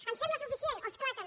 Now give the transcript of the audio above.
ens sembla suficient oh és clar que no